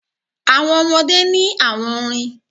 Àwọn ọmọdé ní àwọn orin.